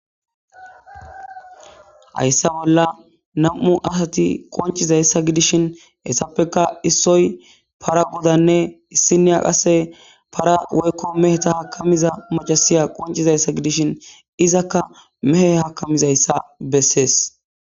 Haysa bolla nam'u asat qoncizaysa gidishn etappeka issoy para godanne issinya qase pra woyko meheta akamiza macasiya qoncizaysa gidishn izaka mehe hakamizaysa beses.